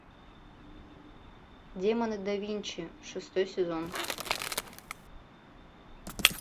демоны да винчи шестой сезон